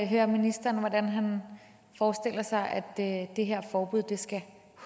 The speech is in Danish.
høre ministeren om hvordan han forestiller sig at at det her forbud skal